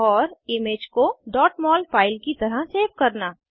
और इमेज को mol file की तरह सेव करना